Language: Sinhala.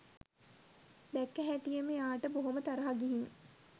දැක්ක හැටියෙම එයාට බොහොම තරහා ගිහින්